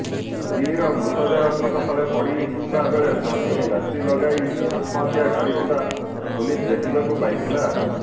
ସ୍ତ୍ରୀର ମୃତଦେହ ଖଟ ତଳେ ପଡ଼ି ଥିବାବେଳେ ସ୍ୱାମୀ ରଶି ଲଗାଇ ଆତ୍ମହତ୍ୟା କରିଥିବା ପୁଲିସ୍ ଦେଖିବାକୁ ପାଇଥିଲା